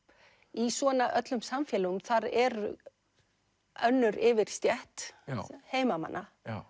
í svona öllum samfélögum þar er önnur yfirstétt heimamanna já